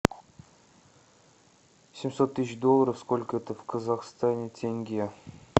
семьсот тысяч долларов сколько это в казахстане тенге